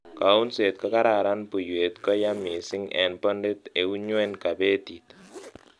kounseet ko kararan buiwet ko yaa missing en bondit eun nyweny kabetit